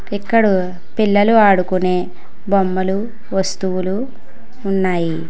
ఇక్కడు పిల్లలు ఆడుకునే బొమ్మలు వస్తువులు ఉన్నాయి.